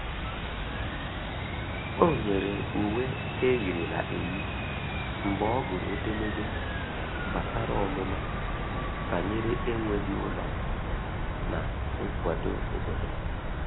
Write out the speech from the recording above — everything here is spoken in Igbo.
O nyere uwe eyirila eyi mgbe ọ gụrụ edemede gbasara ọmụma banyere enweghi ụlọ na nkwado obodo.